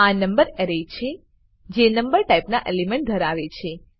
આ number array છે જે નંબર ટાઈપના એલિમેન્ટ ધરાવે છે